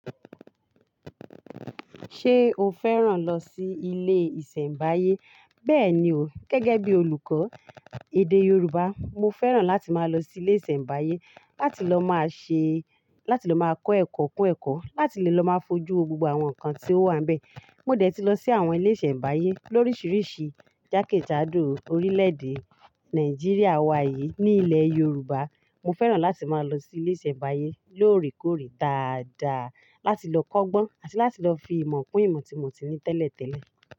Ṣé o fẹ́ràn lọ sí ilé ìsẹ̀mbáyé? Bẹ́ẹ̀ni o, gẹ́gẹ́ bí olùkọ́ èdè Yorùbá, mo fẹ́ràn láti máa lọ sí ilé ìsẹ̀mbáyé láti lọ máa ṣe láti lọ máa kọ́ ẹ̀kọ́ kún ẹ̀kọ́, láti lè lọ máa fojú gbogbo àwọn nǹkan tí ó wà níbẹ̀. Mo dẹ̀ ti lọ sí àwọn ilé ìsẹ̀mbáyé lórisìíríìsí jákèjádò orílẹ̀èdè Nàìjíríà wa yìí, ní ilẹ̀ Yorùbá. Mo fẹ́ràn láti máa lọ sí ilé ìsẹ̀mbáyé lóòrèkóòrè dáadáa láti lọ kọ́gbọ́n àti láti lọ fi ìmọ̀ kún ìmọ̀ tí mo ti ní tẹ́lẹ̀tẹ́lẹ̀.